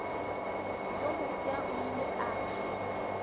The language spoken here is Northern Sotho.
yo mofsa o ile a